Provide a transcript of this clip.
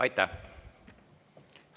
Aitäh!